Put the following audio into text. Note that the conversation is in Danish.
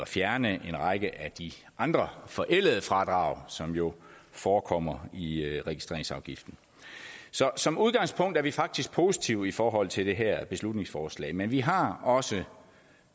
fjerne en række af de andre forældede fradrag som jo forekommer i registreringsafgiften så som udgangspunkt er vi faktisk positive i forhold til det her beslutningsforslag men vi har også